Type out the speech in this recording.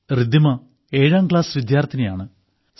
റിദ്ദിമ ഏഴാം ക്ലാസ് വിദ്യാർത്ഥിനിയാണ്